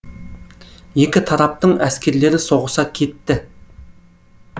екі тараптың әскерлері соғыса кетті